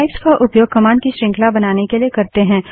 pipes का उपयोग command की श्रृंखला बनाने के लिए करते हैं